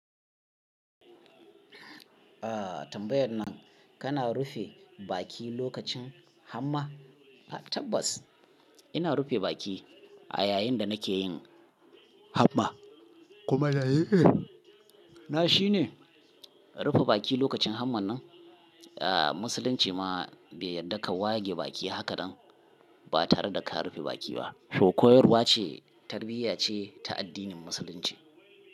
Aa tambayar nan kana rufe baki lokacin Hamma? Tabbas ina rufe baki a yayin da nake yin Hamma. Kuma dalili na shine. Rufe baki lokacin Hamma nan? Aa Musulunci ma bai yarda ka wage baki haka ba tare da ka rufe baki ba. Ko koyarwa ce, tarbiyya ce ta addinin Musulunci.